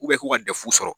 k'u ka defu sɔrɔ